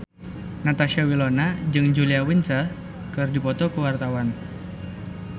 Natasha Wilona jeung Julia Winter keur dipoto ku wartawan